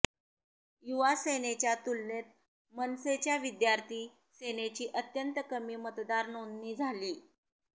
युवा सेनेच्या तुलनेत मनसेच्या विद्यार्थी सेनेची अत्यंत कमी मतदार नोंदणी झालीय